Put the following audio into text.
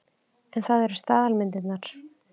En þetta eru staðalmyndirnar.